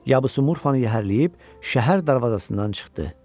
Yabusu murfanı yəhərləyib şəhər darvazasından çıxdı.